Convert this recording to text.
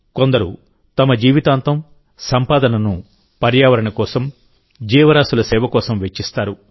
కొందరు తమ జీవితాంతం సంపాదనను పర్యావరణం కోసం జీవరాశుల సేవ కోసం వెచ్చిస్తారు